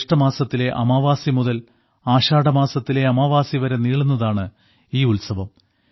ജേഷ്ഠമാസത്തിലെ അമാവാസി മുതൽ ആഷാഢമാസത്തിലെ അമാവാസി വരെ നീളുന്നതാണ് ഈ ഉത്സവം